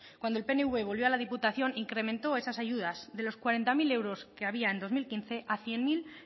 cuando el pnv volvió a la diputación incrementó esas ayudas de los cuarenta mil euros que había en dos mil quince a cien mil